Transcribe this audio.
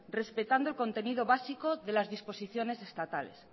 respetando el contenido básico de las disposiciones estatales